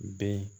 Bɛɛ